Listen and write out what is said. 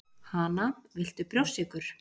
Hana, viltu brjóstsykur